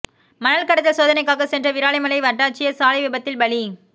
மணல் கடத்தல் சோதனைக்காக சென்ற விராலிமலை வட்டாட்சியர் சாலை விபத்தில் பலி